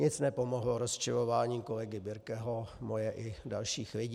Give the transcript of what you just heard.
Nic nepomohlo rozčilování kolegy Birkeho, moje i dalších lidí.